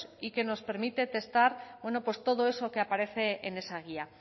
y que nos permite testar pues todo eso que aparece en esa guía